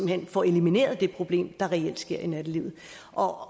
hen får elimineret det problem der reelt sker i nattelivet og